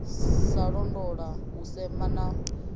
sa londola u sema na